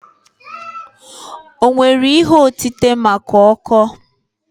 O nwere ihe otite maka ọkọọ?